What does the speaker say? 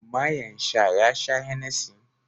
mayen sha ya sha Hennessy